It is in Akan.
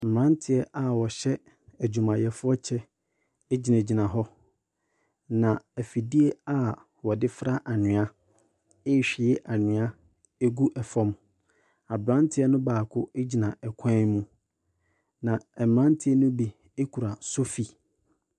Mmranteɛ a wɔhyɛ adwumayɛfoɔ kyɛ egyina gyina hɔ. Na afidie a wɔde fra anwia ehwie anwia egu ɛfam. Abranteɛ no baako egyina ɛkwan mu. Na mmranteɛ no bi ekura sofi.